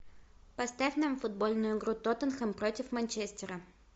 поставь нам футбольную игру тоттенхэм против манчестера